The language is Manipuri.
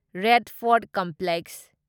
red fort complex